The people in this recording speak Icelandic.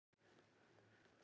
Hann situr nú í gæsluvarðhaldi